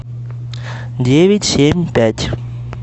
девять семь пять